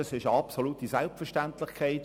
Das ist eine absolute Selbstverständlichkeit.